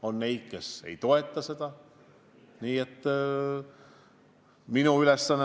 On neid, kes ei toeta.